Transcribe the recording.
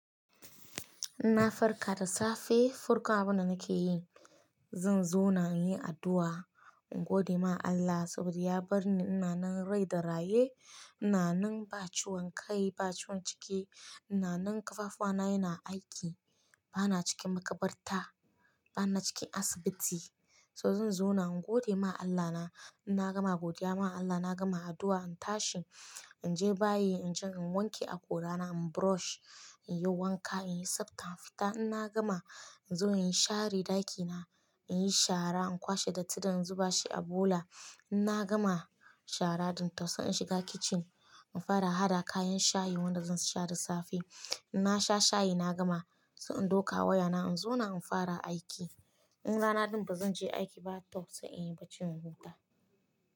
Inna farka da safe, farko abunda nake yi, zan zo na yi addu'a, in gode ma Allah saboda ya bar ni ina nan rai da raye, ina nan ba ciwon kai, ba ciwon ciki, ina nan kafafuwana yana aiki, bana cikin makabarta, bana cikin asibiti. So zanzauna in gode ma Allah na, in na gama godiya ma Allah, na gama addu'a, in tashi, in je bayi, in je in wanke akorana, in brush, in yi wanka, in yi safta, in fita. In na gama, in zo in share ɗakina, in yi shara, in kwashe datti dan in zuba shi a bula. In na gama shara din kafin in shiga kitchen, in fara hada kayan shayi wanda zan sha da safe. In na sha shayi na gama, sai in ɗauka wayana, in zo nan in fara aiki. In rana ɗin ba zan je aiki ba, tau sai in yi bacci in huta.